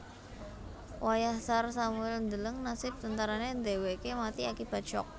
Wayah Tsar Samuil ndeleng nasib tentarané dhèwèké mati akibat syok